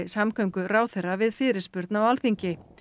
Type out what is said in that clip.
samgönguráðherra við fyrirspurn á Alþingi